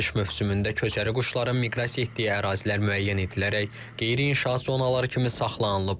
Payız-qış mövsümündə köçəri quşların miqrasiya etdiyi ərazilər müəyyən edilərək qeyri-inşaat zonaları kimi saxlanılıb.